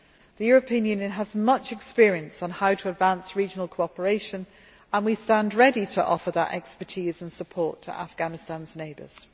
The European Union has much experience on how to advance regional cooperation and we stand ready to offer that expertise and support to Afghanistan's neighbours.